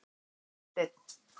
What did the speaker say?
Þorsteinn